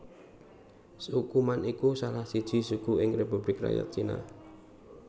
Suku Man iku salah siji suku ing Republik Rakyat Cina